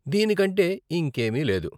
దీనికంటే ఇంకేమీ లేదు.